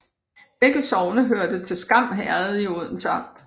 Begge sogne hørte til Skam Herred i Odense Amt